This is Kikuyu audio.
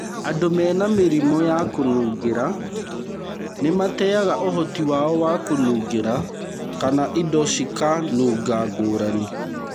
Andũ mena mĩrimũ ya kũnungĩra nĩmateaga ũhoti wao wa kũnungĩra kana indo cikanunga ngũrani.